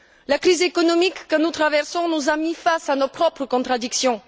La crise économique que nous traversons nous a mis face à nos propres contradictions.